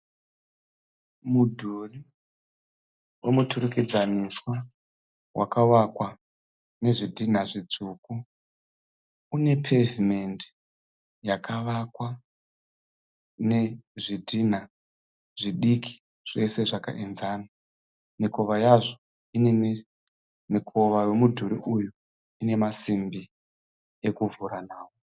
Mudhuri womuturikidzaniswa wakavakwa nezvidhina zvitsvuku. Une pevhimendi yakavakwa nezvidhina zvidiki zvese zvakaenzana. Mikova yazvo ine, mikova wemudhuri uyu ine masimbi ekuvhura nawo.